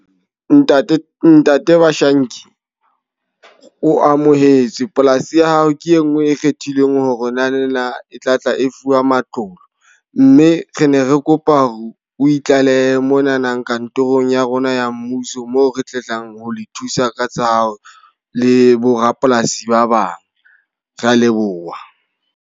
Ntate, ntate Bashanki. O amohetswe. Polasi ya hao ke e nngwe e kgethilweng hore o na le ena e tla tla e fuwa matlolo. Mme re ne re kopa hore o itlalehe monanang kantorong ya rona ya mmuso. Moo re tlang ho le thusa ka tsa hao le borapolasi ba bang. Re a leboha.